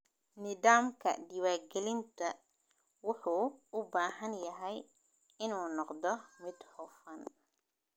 Nidaamka diiwaangelinta wuxuu u baahan yahay inuu noqdo mid hufan.